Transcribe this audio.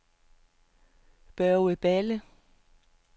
Børge Balle